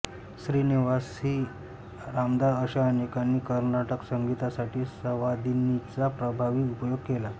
Shrinivas C Ramdas अशा अनेकांनी कर्नाटक संगीतासाठी संवादिनीचा प्रभावी उपयोग केला